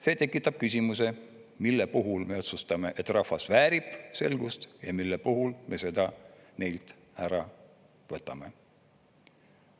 See tekitab küsimuse, mille puhul me otsustame, et rahvas väärib selgust, ja mille puhul me seda neilt ära võtame.